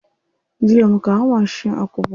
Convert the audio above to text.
Jiya muka hau mashi a Kubwa.